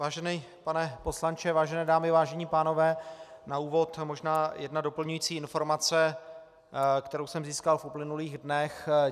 Vážený pane poslanče, vážené dámy, vážení pánové, na úvod možná jedna doplňující informace, kterou jsem získal v uplynulých dnech.